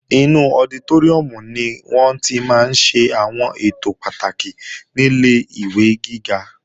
Inú ọditóríùm ni wọ́n tí máa ń ṣe àwọn ètò pàtàkì nílé ìwé gíga